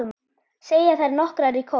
segja þær nokkrar í kór.